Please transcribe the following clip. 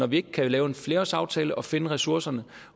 vi ikke kan lave en flerårsaftale og finde ressourcerne